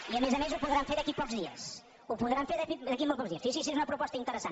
i a més a més ho podran fer d’aquí a pocs dies ho podran fer d’aquí a molt pocs dies fixi’s si és una proposta interessant